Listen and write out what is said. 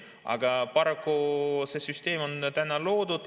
Aga paraku see süsteem on loodud.